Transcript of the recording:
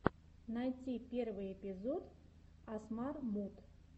найти первый эпизод асмар муд